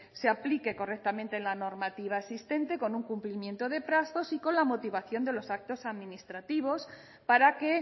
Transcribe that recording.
se aplique correctamente la normativa existente con un cumplimiento de plazos y con la motivación de los actos administrativos para que